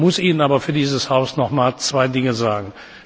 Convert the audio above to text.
Ich muss Ihnen aber für dieses Haus nochmals zwei Dinge sagen.